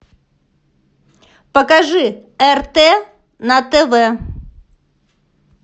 покажи рт на тв